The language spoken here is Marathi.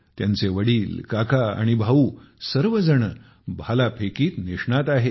त्यांचे वडील काका आणि भाऊ सर्वजण भालाफेकीत निष्णात आहेत